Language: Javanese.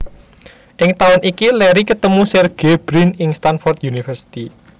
Ing taun iki Larry ketemu Sergey Brin ing Stanford University